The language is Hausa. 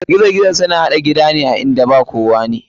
Gizo gizo suna haɗa gida a inda ba kowane.